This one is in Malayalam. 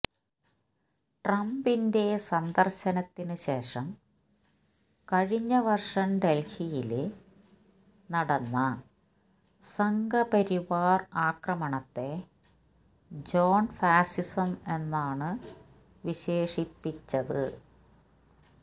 ട്രംപിന്റെ സന്ദര്ശത്തിന് ശേഷം കഴിഞ്ഞ വര്ഷം ഡല്ഹിയില് നടന്ന സംഘപരിവാര് ആക്രമണത്തെ ജോണ് ഫാസിസം എന്നാണ് വിശേഷിപ്പിച്ചത്്